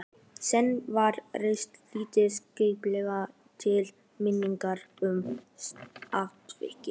Seinna var reist lítil kapella til minningar um atvikið.